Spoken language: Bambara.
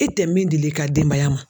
E tɛ min dili ka denbaya ma.